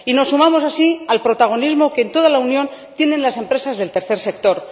Y nos sumamos así al protagonismo que en toda la Unión tiene en las empresas del tercer sector